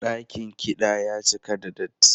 Dakin kiɗan ya cika da datti.